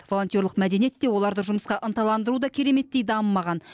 волонтерлік мәдениет те оларды жұмысқа ынталандыру да кереметтей дамымаған